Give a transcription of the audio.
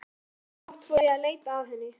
Ósjálfrátt fór ég að leita að henni.